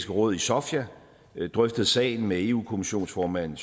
råd i sofia drøftet sagen med eu kommissionsformand